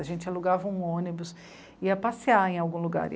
A gente alugava um ônibus e ia passear em algum lugar.